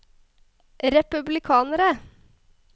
republikanere